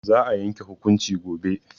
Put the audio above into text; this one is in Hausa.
Za a yanke hukunci gobe.